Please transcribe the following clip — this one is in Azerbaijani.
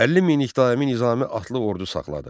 50 minlik daimi Nizami atlı ordu saxladı.